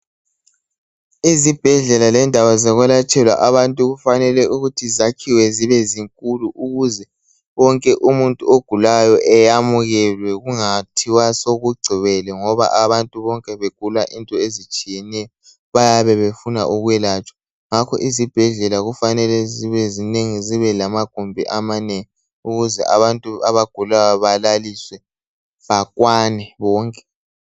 Izibhedlela lendawo zokwelatshelwa abantu kufanele ukuthi zakhiwe zibezinkulu ukuze wonke Umuntu ogulayo eyamukelwe kungathiwa sokugcwele ngoba abantu bonke begula Izinto ezitsh bayabe befunda ukwelatshwa ngakho izibhedlela kufanele zibe zinengi zibe lamagumbi amanengi ukuze abantu abagulayo balaliswe bakwane bonke